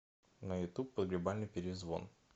на ютуб погребальный перезвон